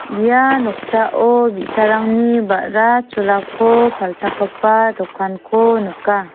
ia noksao bi·sarangni ba·ra cholako palchakgipa dokanko nika.